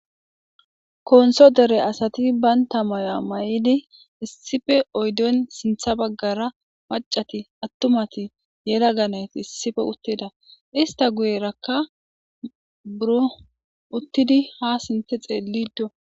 konso dere asati baynta maya may'idi issife oydon sintha baggara macati attumati yela ganet issife uttida ista guyerakka buro uttidi ha sinthe xeellido.